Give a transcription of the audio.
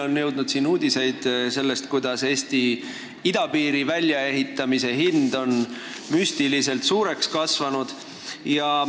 Meieni on jõudnud uudiseid sellest, kuidas Eesti idapiiri väljaehitamise hind on kasvanud müstiliselt suureks.